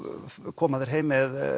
koma þeir heim með